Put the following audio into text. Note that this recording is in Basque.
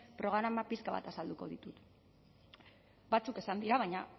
programak pixka bat azalduko ditut batzuk esan dira baina